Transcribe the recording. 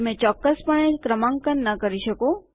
તમે ચોક્કસપણે ક્રમાંકન ન કરી શકો